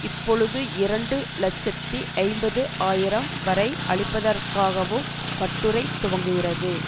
இப்பொழுது இரண்டு இலட்சத்தி ஐம்பது ஆயிரம் வரை அளிப்பதற்காகவும் கட்டுரை துவங்குகிறது